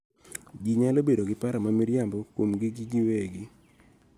Ji nyalo bedo gi paro ma miriambo kuomgi giwegi